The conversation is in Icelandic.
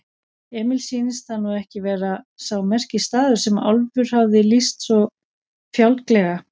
Emil sýndist það nú ekki vera sá merkisstaður sem Álfur hafði lýst svo fjálglega.